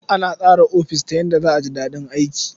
Ana tsara ofis ta yadda za a ji daɗin aiki.